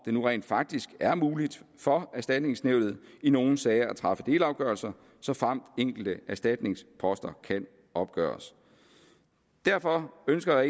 nu rent faktisk er muligt for erstatningsnævnet i nogle sager at træffe delafgørelser såfremt enkelte erstatningsposter kan opgøres derfor ønsker